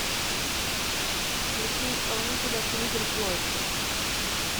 включи исполнителя флиппер флойд